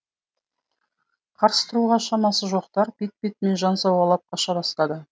қарсы тұруға шамасы жоқтар бет бетімен жан сауғалап қаша бастады